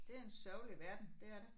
Det er en sørgelig verden. Det er det